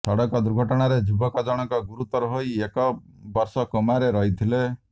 ସଡକ ଦୁର୍ଘଟଣାରେ ଯୁବକ ଜଣକ ଗୁରୁତର ହୋଇ ଏକ ବର୍ଷ କୋମାରେ ରହିଥିଲେ